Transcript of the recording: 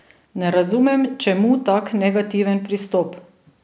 Ne razumem čemu tak negativen pristop!